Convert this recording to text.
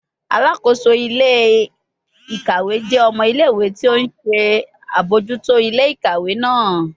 Alakoso ile-ikawe jẹ ọmọ ile-iwe ti o nṣe abojuto ile-ikawe naa